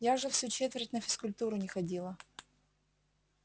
я же всю четверть на физкультуру не ходила